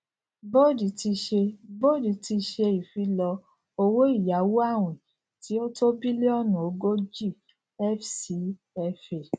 boad ti ṣe boad ti ṣe ìfilọ owóìyáwó awin tí ó tó billionu ogójì fcfa